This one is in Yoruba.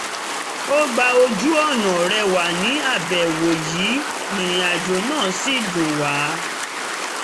a gba ojú-ọ̀nà rẹwà ní àbẹ̀wò yìí ìrìnàjò náà sì dùn wa